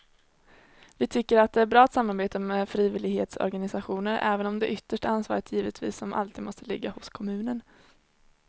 Vi tycker att det är bra att samarbeta med frivillighetsorganisationer även om det yttersta ansvaret givetvis som alltid måste ligga hos kommunen.